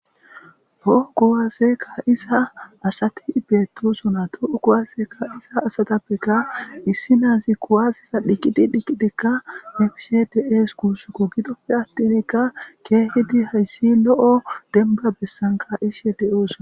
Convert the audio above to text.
Ho gowaazekka isa asati beetosona to7u kuwazeeka iza asatappeka issi naazi kuwaziza dhiqqidi dhiqqidikka nefish des kuussuko gidoppe attinkka keehidi hayssi lo7o denba bessanka ishe deyoosoa.